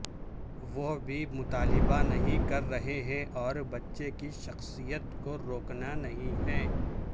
وہ بھی مطالبہ نہیں کر رہے ہیں اور بچے کی شخصیت کو روکنا نہیں ہے